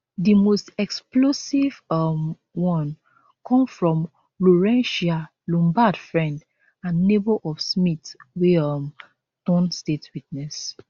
di most explosive um one come from lourentia lombaard friend and neighbour of smith wey um turn state witness